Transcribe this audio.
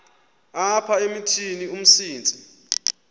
apha emithini umsintsi